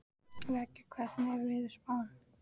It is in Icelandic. Veiga, hvernig er veðurspáin?